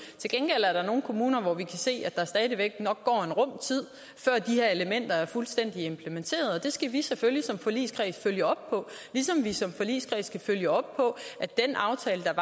til gengæld er der nogle kommuner hvor vi kan se at der stadig væk nok går en rum tid før de her elementer er fuldstændig implementeret og det skal vi selvfølgelig som forligskreds følge op på ligesom vi som forligskreds skal følge op på at den aftale